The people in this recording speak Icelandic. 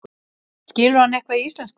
Skilur hann eitthvað í íslensku?